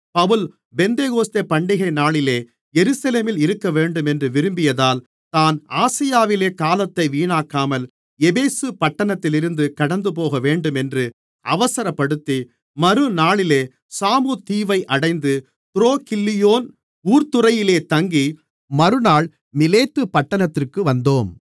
பவுல் பெந்தெகொஸ்தே பண்டிகைநாளிலே எருசலேமில் இருக்கவேண்டுமென்று விரும்பியதால் தான் ஆசியாவிலே காலத்தை வீணாக்காமல் எபேசு பட்டணத்திலிருந்து கடந்துபோகவேண்டுமென்று அவசரப்படுத்தி மறுநாளிலே சாமு தீவை அடைந்து துரோகில்லியோன் ஊர்த்துறையிலே தங்கி மறுநாள் மிலேத்து பட்டணத்திற்கு வந்தோம்